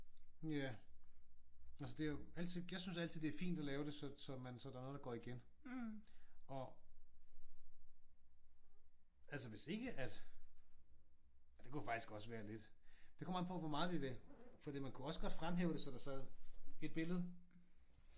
Nja altså det er jo altid jeg synes altid det er fint at lave det så så man så der er noget der går igen og altså hvis ikke at ej det kunne faktisk også være lidt. Det kommer an på hvor meget vi vil. Fordi man kunne også godt fremhæve det så der sad et billede